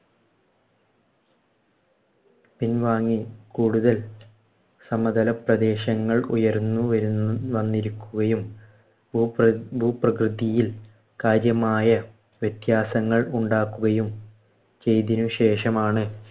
പിൻവാങ്ങി കൂടുതൽ സമതല പ്രദേശങ്ങൾ ഉയർന്നു വരു വന്നിരിക്കുകയും ഭൂപ്ര ഭൂപ്രകൃതിയിൽ കാര്യമായ വ്യത്യാസങ്ങൾ ഉണ്ടാക്കുകയും ചെയ്തതിനുശേഷമാണ്